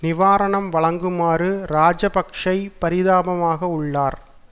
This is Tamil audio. நிவாரணம் வழங்குமாறு இராஜபக்ஷ பரிதாபமாக உள்ளார்